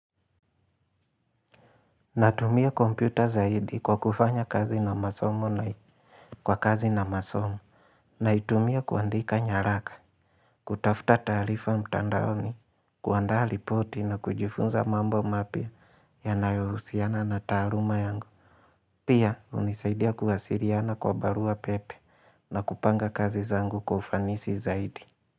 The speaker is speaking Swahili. Natumia kompyuta zaidi kwa kufanya kazi na masomo na kwa kazi na masomo. Naitumia kuandika nyaraka. Kutafuta taarifa mtandaoni. Kuandaa ripoti na kujifunza mambo mapya yanayohusiana na taaluma yangu. Pia hunisaidia kuwasiliana kwa barua pepe na kupanga kazi zangu kufanisi zaidi.